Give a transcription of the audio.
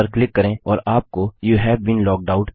इस पर क्लिक करें और आपको यूवे बीन लॉग्ड आउट